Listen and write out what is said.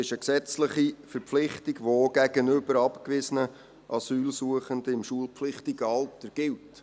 Das ist eine gesetzliche Verpflichtung, die gegenüber abgewiesenen Asylsuchenden im schulpflichtigen Alter gilt.